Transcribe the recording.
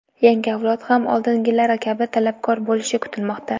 Yangi avlod ham oldingilari kabi talabgor bo‘lishi kutilmoqda.